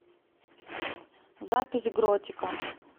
запись гротика